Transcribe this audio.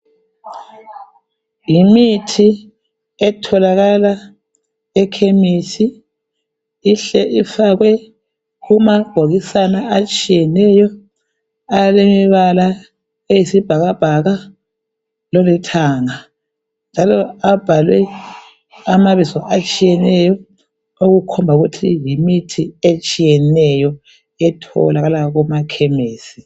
Yimithi etholakala ekhemisi ihle ifakwe kumabhokisana atshiyeneyo alebala eyisibhakabhaka lelithanga njalo abhalwe amabizo atshiyeneyo okukhomba ukuthi yimithi etshiyeneyo etholakala kumakhemisi.